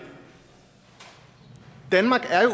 danmark er jo